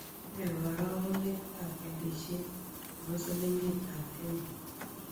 Ne karogunetap walisiet ne po silingitap kenya